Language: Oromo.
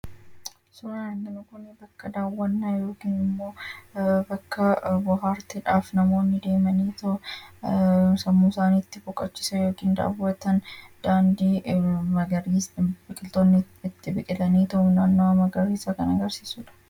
Suuraan kun bakka daawwannaa yookaan immoo bakka bohaartiidhaaf namoonni deemaniitoo sammuu isaanii itti boqochiisan daandii fi naannawaa magariisaa kan agarsiisudha.